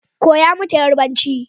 Koya mata yarbanci